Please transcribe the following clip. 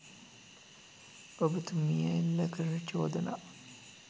ඔබතුමිය එල්ල කරන චෝදනා